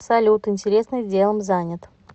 салют интересным делом занят